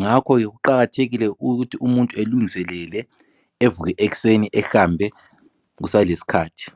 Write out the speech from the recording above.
ngakho ke kuqakathekile ukuthi umuntu elenguselele evuke ekuseni ehambe kusalesikhathi.